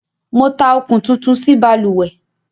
Mo tá okún tuntun sí balùwẹ́